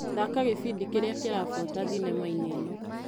Thaka gĩbindi kĩrĩa kĩrabuata thinema-inĩ ĩno.